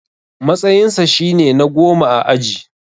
Matsayinsa shine na goma a aji.